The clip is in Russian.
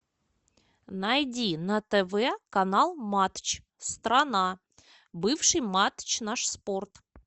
найди на тв канал матч страна бывший матч наш спорт